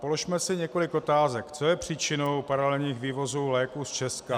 Položme si několik otázek, co je příčinou paralelních vývozů léků z Česka.